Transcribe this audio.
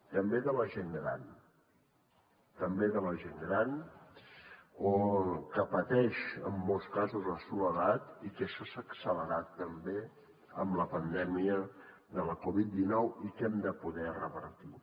també de la gent gran també de la gent gran que pateix en molts casos la soledat i que això s’ha accelerat també amb la pandèmia de la covid dinou i que hem de poder revertir